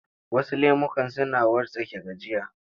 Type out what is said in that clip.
Wasu lemukan suna wartsake gajiya.